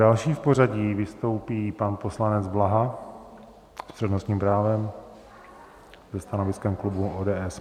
Další v pořadí vystoupí pan poslanec Blaha s přednostním právem se stanoviskem klubu ODS.